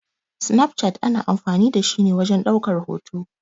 Snaf chat ana amfani da shi ne wajen ɗaukar hoto.